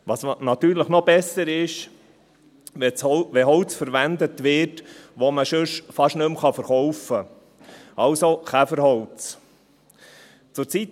Wenn Holz verwendet wird, das man sonst fast nicht mehr verkaufen kann, also Käferholz, ist es natürlich noch besser.